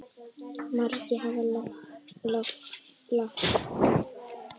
Margir hafa lagt málinu lið.